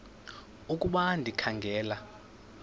ukuba ndikha ngela